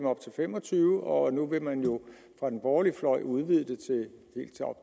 op til fem og tyve år og nu vil man fra den borgerlige fløjs udvide det